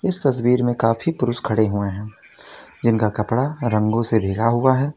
इस तस्वीर में काफी पुरुष खड़े हुए हैं जिनका कपड़ा रंगों से भींगा हुआ है।